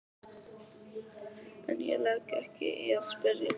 En ég legg ekki í að spyrja.